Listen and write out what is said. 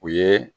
U ye